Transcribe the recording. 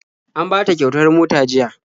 An bata kyautar mota jiya..